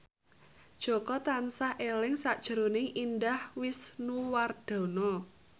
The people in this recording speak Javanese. Jaka tansah eling sakjroning Indah Wisnuwardana